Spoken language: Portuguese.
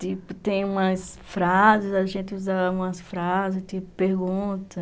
Tipo, tem umas frases, a gente usa umas frases, tipo, pergunta.